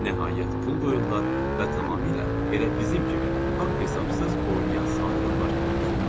Nəhayət pul qoyurlar və tamamilə elə bizim kimi, haqq-hesabsız oynayan sadə adamlar kimi uduzurlar.